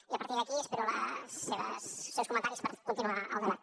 i a partir d’aquí espero els seus comentaris per continuar el debat